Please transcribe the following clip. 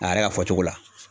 A yɛrɛ ka fɔcogo la